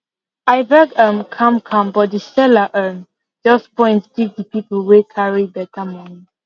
i beg um calm calm but the seller um just point give the people wey carry better money